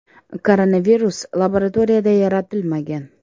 Koronavirus laboratoriyada yaratilmagan.